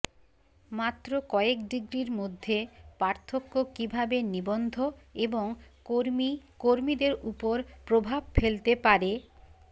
মাত্র কয়েক ডিগ্রির মধ্যে পার্থক্য কীভাবে নিবদ্ধ এবং কর্মী কর্মীদের উপর প্রভাব ফেলতে পারে